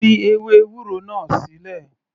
Fi ewé ewúro náà sílẹ̀.